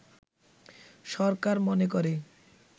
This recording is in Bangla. সরকার মনে করে